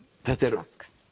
þetta er